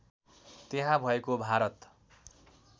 त्यहाँ भएको भारत